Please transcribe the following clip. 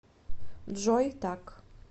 джой так